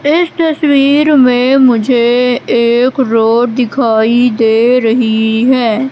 इस तस्वीर में मुझे एक रोड दिखाई दे रही है।